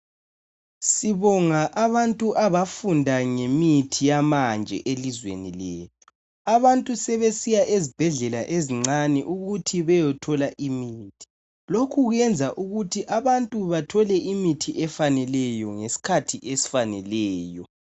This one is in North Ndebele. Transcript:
Sibonga abantu abafunda ngemithi yamanje elizweni lethu .Abantu sebesiya ezibhedlela ezincane ukuthi beyothola imithi .Lokhu kwenza ukuthi abantu bathole imithi efaneleyo ngeskhathi esifaneleyo .